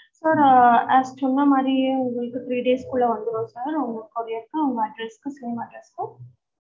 sir ah as சொன்ன மாறியே உங்களுக்கு three days குள்ள வந்துரும் sir உங்க courier address from address க்கு